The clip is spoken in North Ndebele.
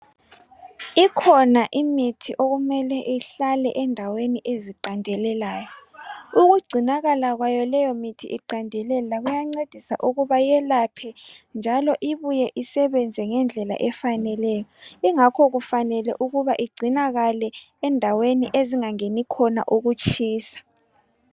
Ikhona imithi okumele ihlale endaweni eziqandelelayo, ukugcinakala kwayo leyomithi iqandelela kuyancedisa ukuba yelaphe njalo ibuye isebenze ngendlela efaneleyo ingakho kufanele ukuba igcinakale endaweni ezingangeni ukutshisa.